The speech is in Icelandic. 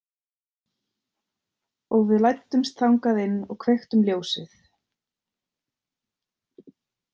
Og við læddumst þangað inn og kveiktum ljósið.